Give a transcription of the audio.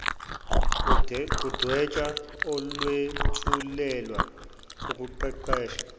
kudwetshwa olwethulelwe ukuqeqesha